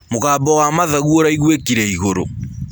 Mũgambo wa mathagũ ũraĩgũĩkĩre ĩgũrũ